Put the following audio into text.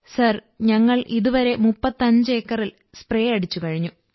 sir ഞങ്ങൾ ഇതുവരെ 35 ഏക്കറിൽ സ്േ്രപ അടിച്ചു കഴിഞ്ഞു